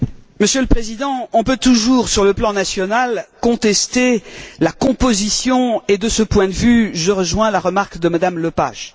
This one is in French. Monsieur le Président, on peut toujours, sur le plan national, contester la composition et, de ce point de vue, je rejoins la remarque de Mme Lepage.